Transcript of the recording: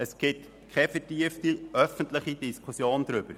Es gibt keine vertiefte öffentliche Diskussion darüber.